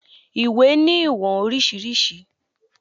Iwé ni iwọn oriṣiriṣi